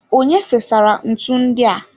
Onye fesara ntu ndi a?